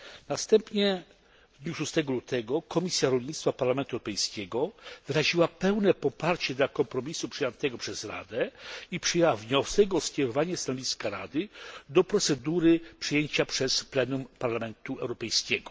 Następnie w dniu 26 lutego Komisja Rolnictwa i Rozwoju Wsi Parlamentu Europejskiego wyraziła pełne poparcie dla kompromisu przyjętego przez Radę i przyjęła wniosek o skierowanie stanowiska Rady do procedury przyjęcia przez plenum Parlamentu Europejskiego.